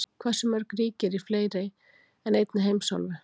Hversu mörg ríki eru í fleiri en einni heimsálfu?